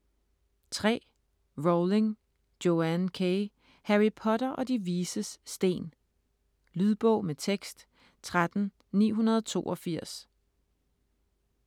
Rowling, Joanne K.: Harry Potter og De Vises Sten Lydbog med tekst 13982